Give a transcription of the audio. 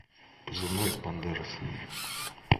позывной бандерас